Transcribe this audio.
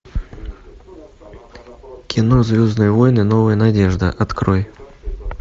кино звездные войны новая надежда открой